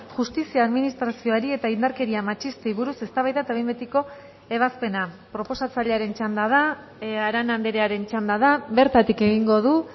justizia administrazioari eta indarkeria matxistei buruz eztabaida eta behin betiko ebazpena proposatzailearen txanda da arana andrearen txanda da bertatik egingo du